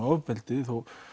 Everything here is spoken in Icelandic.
ofbeldi